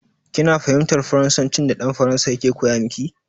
Kina fahimtar Faransancin da dan Faransan yake koya miki?